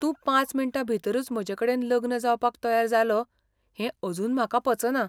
तूं पांच मिण्टां भितरूच म्हजेकडेन लग्न जावपाक तयार जालो हें अजून म्हाका पचना.